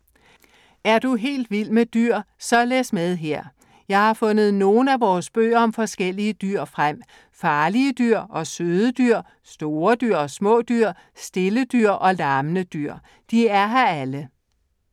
Er du helt vild med dyr? Så læs med her! Jeg har fundet nogle af vores bøger om forskellige dyr frem. Farlige dyr og søde dyr. Store dyr og små dyr. Stille dyr og larmende dyr. De er her alle.